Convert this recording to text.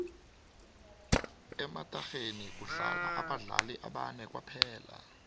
ematarheni kudlala abadlali abane kuphela